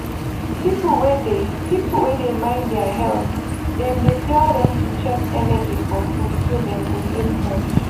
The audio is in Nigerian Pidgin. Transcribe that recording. people wey dey people wey dey mind their health dem dey tell them to check energy for food so dem go dey fresh